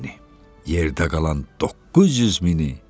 Yerdə qalan 900 mini.